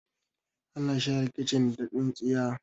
ana share kicin da tsintsiya